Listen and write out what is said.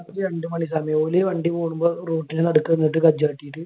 രാത്രി രണ്ട് മണി. ഇവർ ഈ വണ്ടി പോകുമ്പോ road ൽ നടുക്ക് നിന്നിട്ട് കൈ കാട്ടിയിട്ട്